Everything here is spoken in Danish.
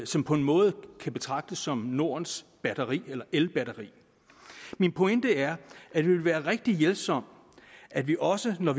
som på en måde kan betragtes som nordens elbatteri min pointe er at det vil være rigtig hjælpsomt at vi også når